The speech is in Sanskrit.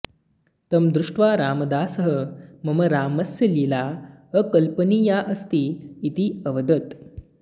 तं दृष्ट्वा रामदासः मम रामस्य लीला अकल्पनीया अस्ति इति अवदत्